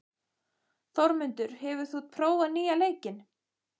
Þórmundur, hefur þú prófað nýja leikinn?